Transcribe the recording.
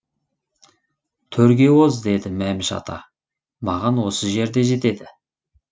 төрге оз деді мәміш ата маған осы жер де жетеді